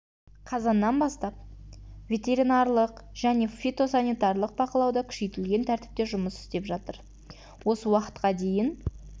қазаннан бастап ветеринарлық және фитосанитарлық бақылау да күшейтілген тәртіпте жұмыс істеп жатыр осы уақытқа дейін